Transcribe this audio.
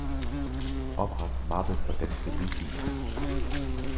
Opret mappe for danske lydfiler.